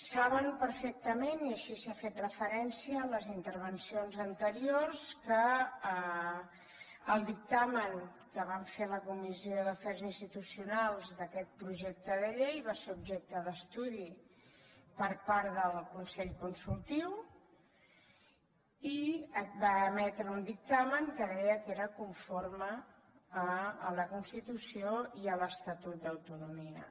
saben perfectament i així s’hi ha fet referència a les intervencions anteriors que el dictamen que vam fer a la comissió d’afers institucionals d’aquest projecte de llei va ser objecte d’estudi per part del consell consultiu i va emetre un dictamen que deia que era conforme a la constitució i a l’estatut d’autonomia